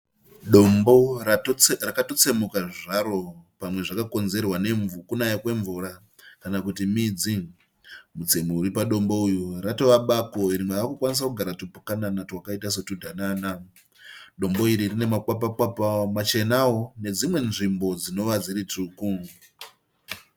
Dombo rakatotsemuka zvaro pamwe zvakakonzerwa nekunaya kwemvura kana kuti midzi. Mutsemu uri padombo uyu ratova bako rimwe ravakukwanisa kugara tupukanana twakaita setudhanana. Dombo iri rine makwapa makwapa machenawo nedzimwe nzvimbo dzinova dziri tsvuku.